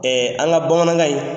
An ka bamanankan in